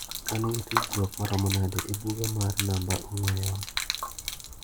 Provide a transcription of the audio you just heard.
An gi tudruok maromo nade e buga mar namba ong'ue yamo.